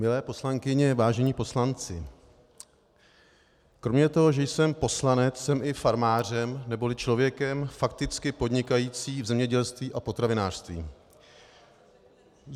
Milé poslankyně, vážení poslanci, kromě toho, že jsem poslanec, jsem i farmářem neboli člověkem fakticky podnikajícím v zemědělství a potravinářství.